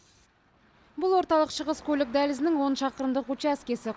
бұл орталық шығыс көлік дәлізінің он шақырымдық учаскесі